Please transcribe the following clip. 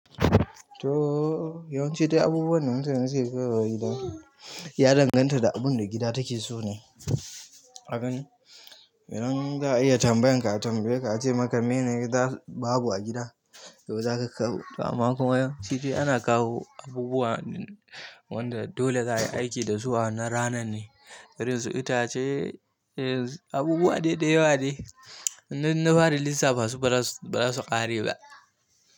To, yawanci dai abubuwan da mutane suke kaiwa gida ya danganta da abun da gida take so ne. Idan za a iya tambayan ka, a tambaye ka a ce maka mene gida babu a gida, to za ka kawo. Amma kuma shi dai ana kawo abubuwa wanda dole za ayi aiki da su a wannan ranan ne, irin su itace, abubuwa daidai da yawa de. Yanzun inna fara lissafa su baza su ƙare ba.